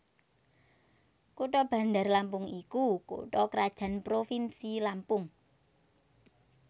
Kutha Bandar Lampung iku kutha krajan provinsi Lampung